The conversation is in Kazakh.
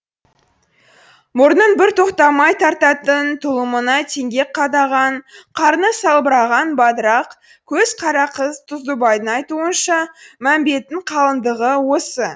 мұрнын бір тоқтамай тартатын тұлымына теңге қадаған қарны салбыраған бадырақ көз қара қыз тұздыбайдың айтуынша мәмбеттің қалыңдығы осы